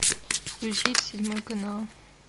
включить седьмой канал